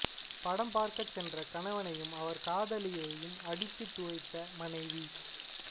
படம் பார்க்கச் சென்ற கணவனையும் அவர் காதலியையும் அடித்துத் துவைத்த மனைவி